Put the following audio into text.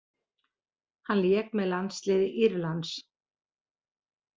Hann lék með landsliði Írlands.